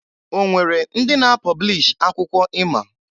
O nwere ndị na-apọblish akwụkwọ ima?